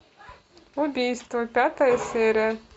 убийство пятая серия